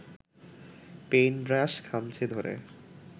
paint brush খামচে ধরে